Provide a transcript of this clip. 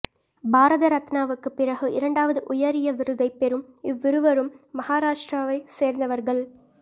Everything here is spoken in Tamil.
பாரத ரத்னாவுக்கு பிறகு இரண்டாவது உயரிய விருதைப் பெறும் இவ்விருவரும் மகாராஷ்டிராவைச் சேர்ந்தவர்கள்